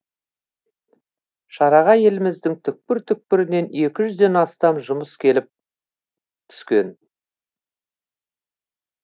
шараға еліміздің түкпір түкпірінен екі жүзден астам жұмыс келіп түскен